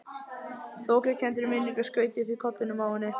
Þokukenndri minningu skaut upp í kollinum á henni.